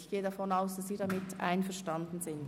Ich gehe davon aus, dass Sie damit einverstanden sind.